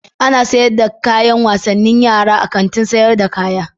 Ana sayar da kayan wasannin yara a Kantin sayar da kaya.